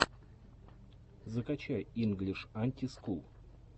закачай инглиш анти скул